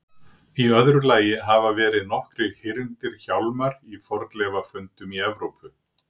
Í öðru lagi hafa verið nokkrir hyrndir hjálmar í fornleifafundum í Evrópu.